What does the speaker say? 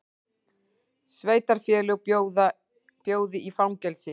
Sveitarfélög bjóði í fangelsi